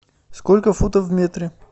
сколько футов в метре